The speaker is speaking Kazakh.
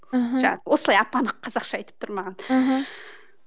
мхм осылай ап анық қазақша айтып тұр маған